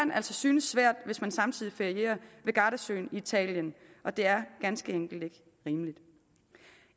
synes svært hvis man samtidig ferierer ved gardasøen i italien det er ganske enkelt ikke rimeligt